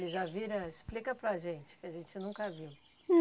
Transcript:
Ele já vira... Explica para a gente, que a gente nunca viu.